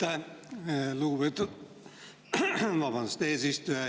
Aitäh, lugupeetud eesistuja!